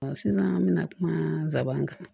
sisan an mina kuma nsaban kan